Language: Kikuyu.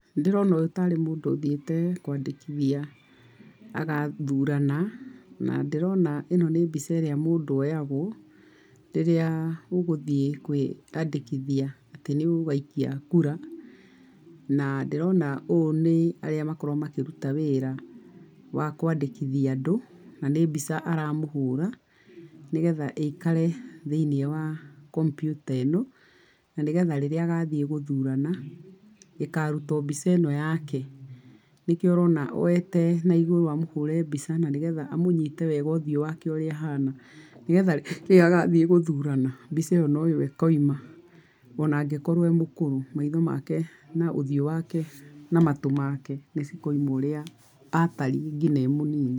Nĩ ndĩrona ũyũ tarĩ mũndũ ũthiĩte kwandĩkithia agathurana. Na ndĩrona ĩno nĩ mbica ĩrĩa mũndũ oyagwo rĩrĩa ũgũthiĩ kwĩandĩkithia atĩ nĩ ũgaikia kura. Na ndĩrona ũyũ nĩ arĩa makoragwo makĩruta wĩra wa kũandĩkithia andũ na nĩ mbica aramũhũra nĩgetha ĩikare thĩiniĩ wa kompyuta ĩno, na nĩgetha rĩrĩa agathiĩ gũthurana, ĩkaruta o mbica ĩno yake. Nĩkĩo ũrona oete naigũrũ amũhũre mbica na nĩgetha amũnyite wega ũthiũ wake ũrĩa ũhana. Nĩgetha rĩrĩa agathiĩ gũthurana, mbica ĩyo no yo ĩkoima. O na angĩkorwo e mũkũrũ, maitho make na ũthiu wake na matũ make nĩ cikoima ũrĩa ataringi e mũnini.